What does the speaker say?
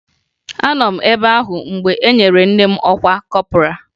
Anọ m ebe ahụ mgbe e nyere nne m ọkwa kọpọraa